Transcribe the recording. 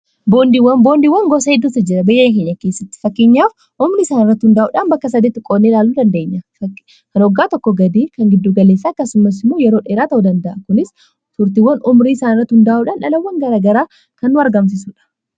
boondiiwwan gosa hiddutajjira beyya akeenyakeessatti fakkiinyaaf umrii isaan irrati hundaa'uudhaan bakka sadeetti qoonnee laaluu dandeenya kan oggaa tokko gadii kan giddugaleessaa kasimasimoo yeroo dheeraa ta'u danda'a kunis turtiiwwan umrii isaan irrati hundaa'uudhaan dhalawwan garagaraa kan argamsisudha